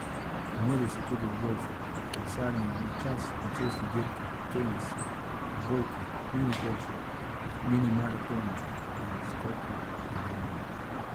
Pomerijo se tudi v golfu, kolesarjenju na čas in cestni dirki, tenisu, odbojki, minigolfu, minimaratonu in skoku v daljino.